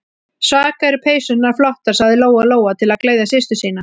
Svaka eru peysurnar flottar, sagði Lóa-Lóa til að gleðja systur sína.